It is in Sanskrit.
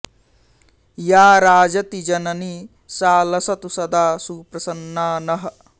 या राजति जननी सा लसतु सदा सुप्रसन्ना नः